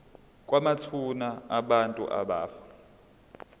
kwamathuna abantu abafa